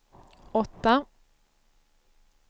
åtta